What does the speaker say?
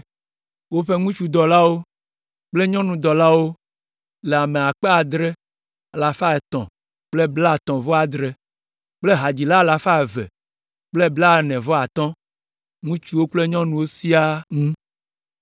Woƒe ŋutsudɔlawo kple nyɔnudɔlawo le ame akpe adre alafa etɔ̃ kple blaetɔ̃-vɔ-adre (7,337) kple hadzila alafa eve kple blaene-vɔ-atɔ̃ (245), ŋutsuwo kple nyɔnuwo siaa ŋu.